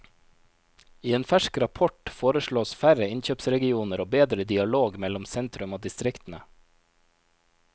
I en fersk rapport foreslås færre innkjøpsregioner og bedre dialog mellom sentrum og distriktene.